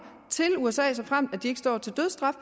til usa såfremt de ikke står til dødsstraf